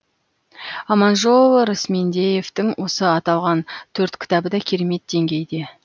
аманжол рысмендеевтің осы аталған төрт кітабы да керемет деңгейде